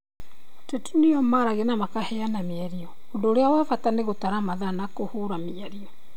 Ateti nĩo maragia na makaheana mĩario, ũndũ ũrĩa wa bata nĩ gũtara mathaa na kũhũũra mĩario.